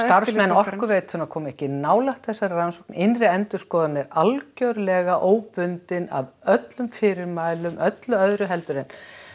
Orkuveitunnar koma ekki nálægt þessari rannsókn innri endurskoðun er algerlega óbundin af öllum fyrirmælum öllu öðru en